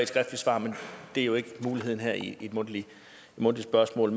skriftligt svar men det er jo ikke muligheden her i et mundtligt spørgsmål